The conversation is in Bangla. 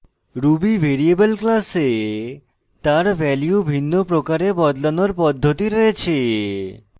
ruby ভ্যারিয়েবল classes তার value ভিন্ন প্রকারে বদলানোর পদ্ধতি রয়েছে